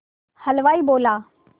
हलवाई बोला